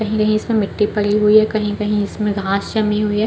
कहीं-कहीं इसमें मिट्टी पड़ी हुई है कहीं-कहीं इसमें घास जमी हुई हैं।